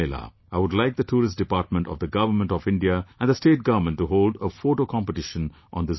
I would like the Tourism Department of the Government of India and the State Government to hold a photo competition on this occasion